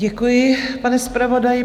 Děkuji, pane zpravodaji.